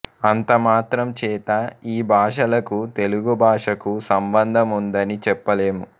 అంతమాత్రం చేత ఈ భాషలకు తెలుగు భాషకు సంబంధం ఉందని చెప్పలేము